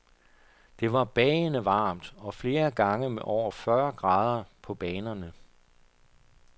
Det var bagende varmt og flere gange med over fyrre grader på banerne.